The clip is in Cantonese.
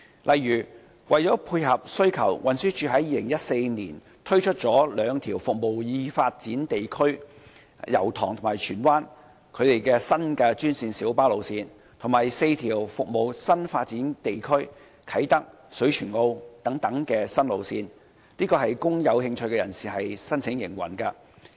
例如，為了配合需求，運輸署在2014年推出兩條服務已發展地區的新專線小巴路線，以及4條服務啟德和水泉澳等新發展地區的新路線，供有興趣人士申請營運。